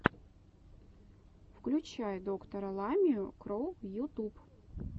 включай доктора ламию кроу ютуб